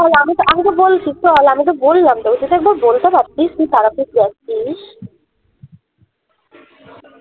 আমিতো আমিতো বলছি চল আমিতো বললাম তোকে তো সব তাও বলতে পারতিস তুই তারাপীঠ যাচ্ছিস